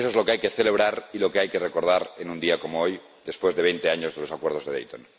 Eso es lo que hay que celebrar y lo que hay que recordar en un día como hoy, después de veinte años de los Acuerdos de Dayton.